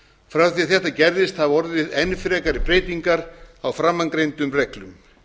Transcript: frá því að þetta gerðist hafa orðið enn frekari breytingar á framangreindum reglum